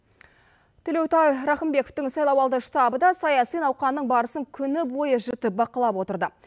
төлеутай рахымбековтың сайлауалды штабы да саяси науқанның барысын күні бойы жіті бақылап отырды